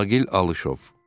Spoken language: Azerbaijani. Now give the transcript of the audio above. Aqil Alışov.